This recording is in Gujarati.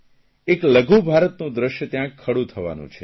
એક લઘુભારતનું દ્રશ્ય ત્યાં ખડું થવાનું છે